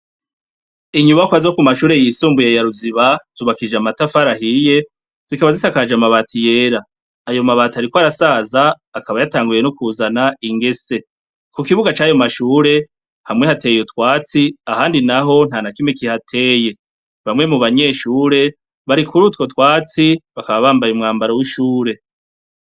Inyubakwa zo kumashure yisumbuye ya ruziba zubakishijwe amatafari ahiye zikaba zisakaje amabati yera, ayo mabati ariko arasaza akaba yatanguye kuzana ingese, kukibuga cayo mashuri hamwe hateye utwatsi, ahandi naho nta nakimwe kihateye, bamwe mu banyeshure bari kurutwo twatsi bakaba bambaye umwambaro w'ishure.